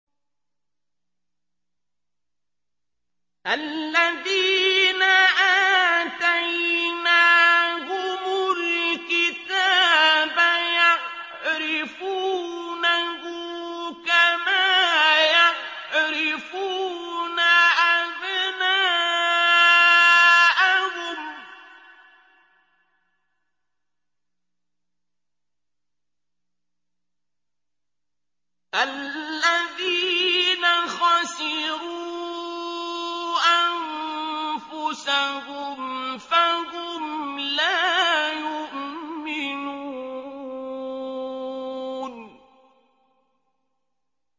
الَّذِينَ آتَيْنَاهُمُ الْكِتَابَ يَعْرِفُونَهُ كَمَا يَعْرِفُونَ أَبْنَاءَهُمُ ۘ الَّذِينَ خَسِرُوا أَنفُسَهُمْ فَهُمْ لَا يُؤْمِنُونَ